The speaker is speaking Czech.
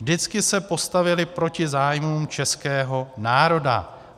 Vždycky se postavili proti zájmům českého národa.